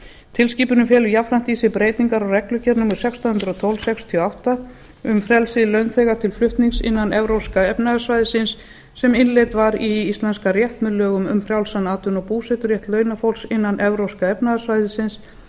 tilskipunin felur jafnframt í sér breytingar á reglugerð númer sextán hundruð og tólf sextíu og átta um frelsi launþega til flutnings innan evrópska efnahagssvæðisins sem innleidd var í íslenskan rétt með lögum um frjálsan atvinnu og búseturétt launafólks innan evrópska efnahagssvæðisins